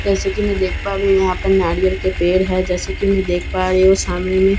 जैसे की मैं देख पा रही हूँ यहाँ पर नारियल के पेड़ हैं जैसे की मैं देख पा रही हूँ सामेन में एक--